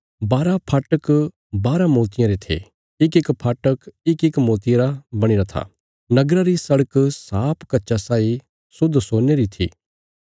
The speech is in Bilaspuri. बारा फाटक बाराँ मोतियां रे थे इकइक फाटक इकइक मोतिये रा बणीरा था नगरा री सड़क साफ कच्चा साई शुद्ध सोने री थी